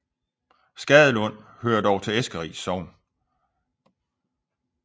Skadelund hører dog til Eskeris Sogn